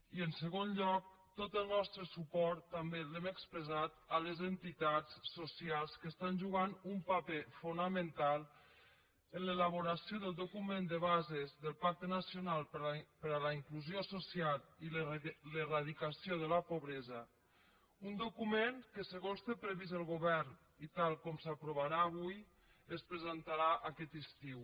i en segon lloc tot el nostre suport també l’hem expressat a les entitats socials que juguen un paper fonamental en l’elaboració del document de bases del pacte nacional per la inclusió social i l’eradicació de la pobresa un document que segons té previst el govern i tal com s’aprovarà avui es presentarà aquest estiu